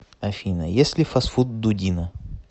афина ест ли фастфуд дудина